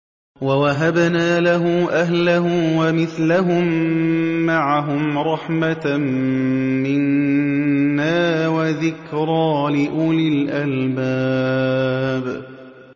وَوَهَبْنَا لَهُ أَهْلَهُ وَمِثْلَهُم مَّعَهُمْ رَحْمَةً مِّنَّا وَذِكْرَىٰ لِأُولِي الْأَلْبَابِ